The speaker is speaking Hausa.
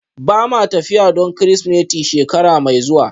Ba ma tafiya don Kirsimeti shekara mai zuwa